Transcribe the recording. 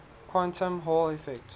quantum hall effect